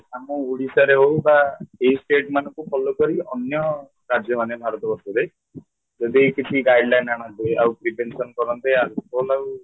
ଆମ ଓଡିଶାରେ ହଉ ବା ଏହି state ମାନଙ୍କୁ follow କରି ଅନ୍ୟ ରାଜ୍ୟ ମାନେ ଭାରତ ବର୍ଷରେ ଯଦି କିଛି guideline ଆଣନ୍ତେ ଆଉ prevention କରନ୍ତେ alcohol ଆଉ